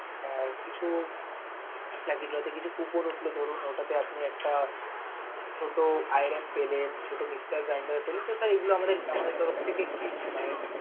কিছু মতলব ধরুন ওটাতে আপনি আপনার একটা ছোট iron পেলেন, ছোট mixer blender পেলেন, তো তালে sir এগুলো আমাদের তরপ থেকে gift